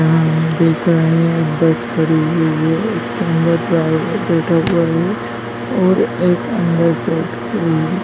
बस खड़ी हुई है इसके अंदर ड्राइवर बैठा हुआ है और एक अंदर से --